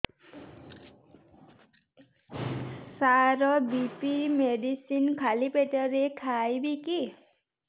ସାର BP medicine ଖାଲି ପେଟରେ ଖାଇବି କି